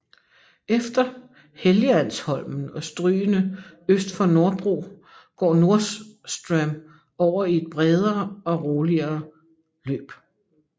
Efter Helgeandsholmen og strygene øst for Norrbro går Norrström over i et bredere og roligere løb